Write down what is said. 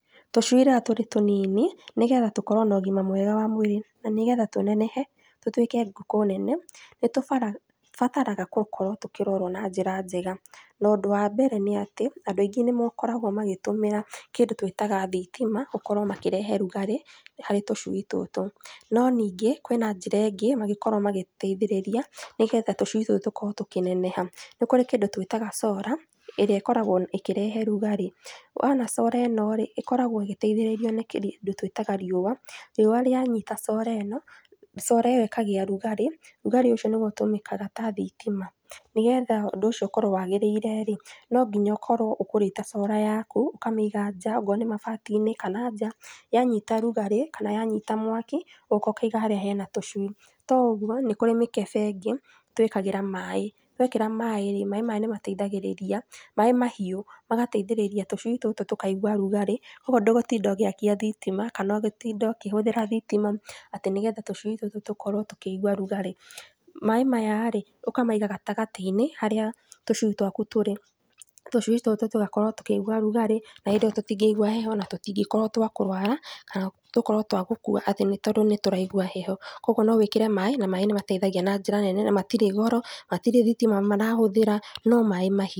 Tũcui rĩrĩa tũrĩ tũnini, nĩgetha tũkorwo na ũgima mwega wa mwĩrĩ na nĩgetha tũnenehe tũtuĩke ngũkũ nene, nĩtũbataraga gũkorwo tũkĩrorwo na njĩra njega na ũndũ wa mbere, nĩ atĩ andũ aingĩ nĩmakoragwo magitũmĩra kĩndũ tũĩtaga thitima gũkorwo makĩrehe rugarĩ harĩ tũcui tũtũ. No ningĩ kwĩna njĩra ĩngĩ mangĩkorwo magĩteithĩrĩria nĩgetha tũcui tũtũ tũkorwo tũkĩneneha, nĩ kũrĩ kĩndũ twĩtaga solar ĩrĩa ĩkoragwo ĩkĩrehe rugarĩ, wona solar ĩno rĩ, ĩkoragwo ĩgiteithĩrĩrio nĩ kĩndũ twĩtaga riũa, riũa rĩanyita solar ĩno, solar ĩyo ĩkagĩa rugarĩ, rugarĩ ũcio nĩguo ũtũmĩkaga ta thitima, nĩgetha ũndũ ũcio ũkorwo wagĩrĩire rĩ, no nginya ũkorwo ũgũrĩte solar yaku ũkamĩiga nja okorwo nĩ mabati-inĩ kana nja, yanyita rũgarĩ kana yanyiita mwaki ũgoka ũkaiga harĩa hena tũcui, to ũguo nĩkũrĩ mĩkebe ĩngĩ twĩkagĩra maaĩ, wekĩra maaĩ , maaĩ maya nĩmateithagĩrĩria, maaĩ mahiũ magateithĩrĩria tũcui tũtũ tũkaigua rugarĩ ũguo ndũgũtinda ũgĩakia thitima kana ũgĩtinda ũkihũthĩra thitima atĩ nĩgetha tũcui tũtũ tũkorwo tũkĩigua rugarĩ. Maaĩ maya rĩ, ũkamaiga gatagatĩ-inĩ haria tũcui twaku tũrĩ, tũcui tũtũ tũgakorwo tũkĩigua rugari na hĩndĩ ĩyo tũtingiigua heho na tũtĩngĩkorwo twa kũrwara, kana gũkorwo twa gũkua atĩ tondũ nĩtũraigua heho, kogwo nowĩkĩre maaĩ na maaĩ nĩmateithagia na njĩra nene na matirĩ goro, matirĩ thitima marahũthĩra no maaĩ mahiũ.